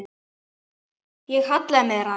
Ég hallaði mér að henni.